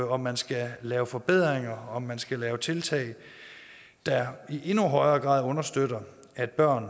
om man skal lave forbedringer og om man skal lave tiltag der i endnu højere grad understøtter at børn